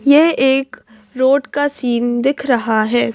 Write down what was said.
यह एक रोड का सीन दिख रहा है।